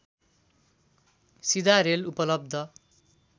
सीधा रेल उपलब्ध